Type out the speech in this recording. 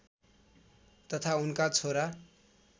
तथा उनका छोरा